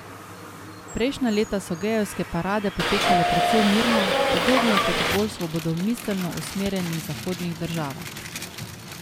Prejšnja leta so gejevske parade potekale precej mirno, podobno kot v bolj svobodomiselno usmerjenih zahodnih državah.